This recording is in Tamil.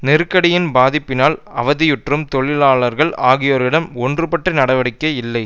நெருக்கடியின் பாதிப்பினால் அவதியுறும் தொழிலாளர்கள் ஆகியோரிடம் ஒன்றுபட்ட நடவடிக்கை இல்லை